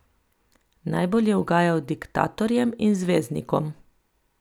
Najbolj je ugajal diktatorjem in zvezdnikom.